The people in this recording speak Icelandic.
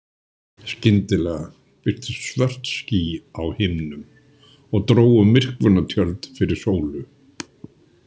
Skyndilega birtust svört ský á himninum og drógu myrkvunartjöld fyrir sólu.